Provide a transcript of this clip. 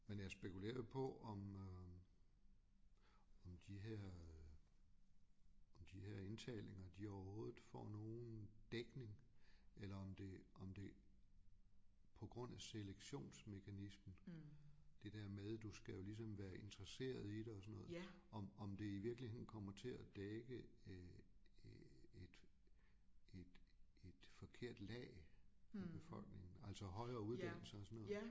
Men jeg spekulerer jo på om øh om de her øh om de her indtalinger de overhovedet får nogen dækning eller om det om det på grund af selektionsmekanismen det der med du skal jo ligesom være interesseret i det og sådan noget om om det i virkeligheden kommer til at dække øh et et et forkert lag af befolkningen altså højere uddannelser og sådan noget